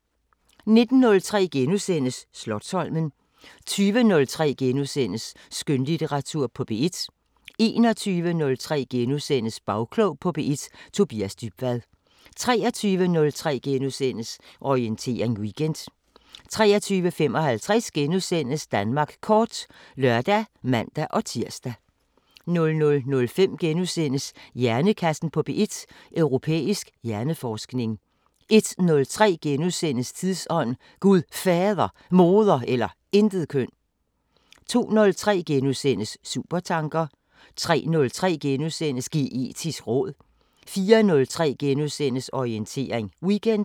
19:03: Slotsholmen * 20:03: Skønlitteratur på P1 * 21:03: Bagklog på P1: Tobias Dybvad * 23:03: Orientering Weekend * 23:55: Danmark kort *(lør og man-tir) 00:05: Hjernekassen på P1: Europæisk hjerneforskning * 01:03: Tidsånd: Gud Fader, Moder eller Intetkøn * 02:03: Supertanker * 03:03: Geetisk råd * 04:03: Orientering Weekend *